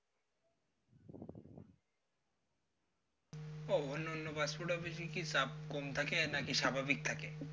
ও অন্য অন্য passport office কি চাপ কম থাকে নাকি স্বাভাবিক থাকে